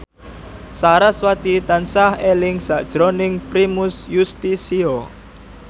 sarasvati tansah eling sakjroning Primus Yustisio